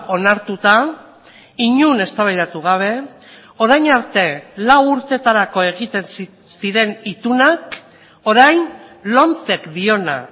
onartuta inon eztabaidatu gabe orain arte lau urteetarako egiten ziren itunak orain lomcek diona